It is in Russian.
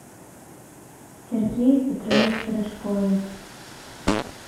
сергее петровиче рыжкове